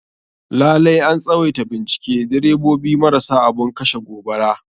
Lalai an tswaita bincike direbobi marasa abun kashe gobara.